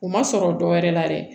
U ma sɔrɔ dɔwɛrɛ la dɛ